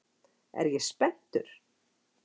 Er ég spenntur?